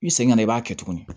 I segin ka na i b'a kɛ tuguni